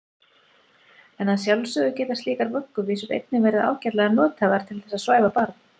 En að sjálfsögðu geta slíkar vögguvísur einnig verið ágætlega nothæfar til þess að svæfa barn.